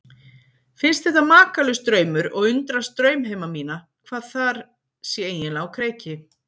Finnst þetta makalaus draumur og undrast draumheima mína, hvað þar sé eiginlega á kreiki.